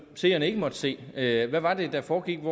seerne ikke måtte se hvad hvad var det der foregik